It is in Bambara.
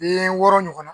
Den wɔɔrɔ ɲɔgɔnna